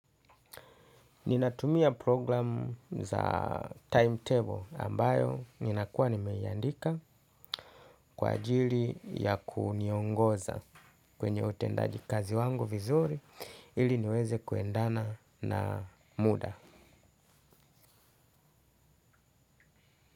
Ninatumia program za timetable ambayo ninakuwa nimeiandika kwa ajili ya kuniongoza kwenye utendaji kazi wangu vizuri ili niweze kuendana na muda.